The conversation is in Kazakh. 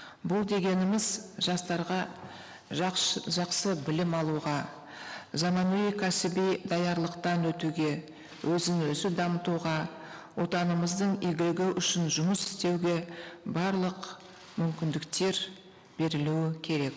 бұл дегеніміз жастарға жақсы білім алуға заманауи кәсіби даярлықтан өтуге өзін өзі дамытуға отанымыздың игілігі үшін жұмыс істеуге барлық мүмкіндіктер берілуі керек